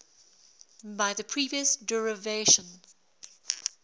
by the previous derivation